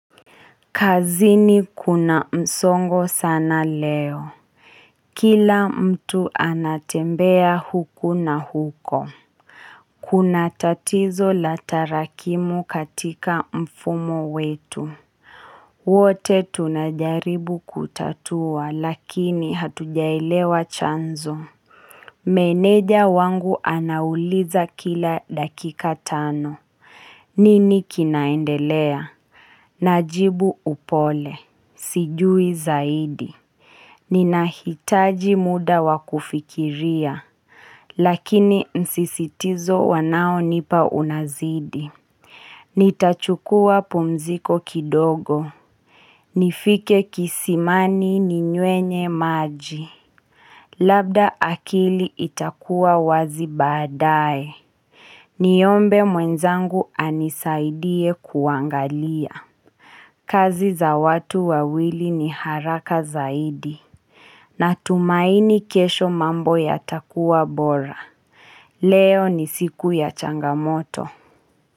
Kazini kuna msongo sana leo. Kila mtu anatembea huku na huko. Kuna tatizo la tarakimu katika mfumo wetu. Wote tunajaribu kutatua lakini hatujaelewa chanzo. Meneja wangu anauliza kila dakika tano. Nini kinaendelea? Najibu upole. Sijui zaidi. Ninahitaji muda wa kufikiria. Lakini msisitizo wanao nipa unazidi. Nitachukua pumziko kidogo, nifike kisimani ninywe maji. Labda akili itakuwa wazi baadaye. Niombe mwenzangu anisaidie kuangalia. Kazi za watu wawili ni haraka zaidi. Natumaini kesho mambo yatakuwa bora. Leo ni siku ya changamoto.